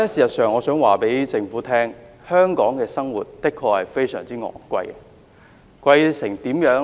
不過，我想告訴政府，在香港生活的確非常昂貴，貴到甚麼程度呢？